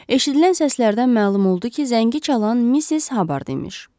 Eşidilən səslərdən məlum oldu ki, zəngi çalan Missis Habard imiş.